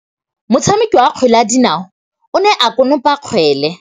Motshameki wa kgwele ya dinaô o ne a konopa kgwele.